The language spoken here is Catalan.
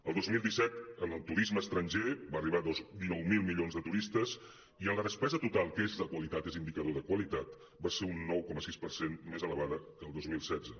el dos mil disset el turisme estranger va arribar a dinou milions de turistes i la despesa total que és de qualitat és indicador de qualitat va ser un nou coma sis per cent més elevada que el dos mil setze